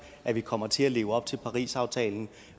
at vi kommer til at leve op til parisaftalen